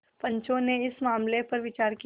पंचो ने इस मामले पर विचार किया